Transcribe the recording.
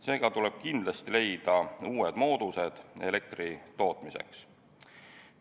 Seega tuleb kindlasti leida uued moodused elektri tootmiseks.